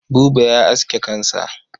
Buba ya aske kansa.